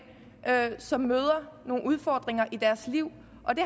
som møder nogle udfordringer i deres liv og det